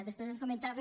després ens comentava